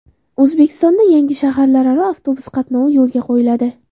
O‘zbekistonda yangi shaharlararo avtobus qatnovi yo‘lga qo‘yiladi.